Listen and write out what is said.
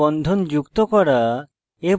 stereo রাসায়নিক বন্ধন যুক্ত করা